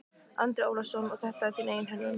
Andri Ólafsson: Og þetta er þín eigin hönnun?